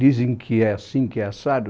Dizem que é assim, que é assado.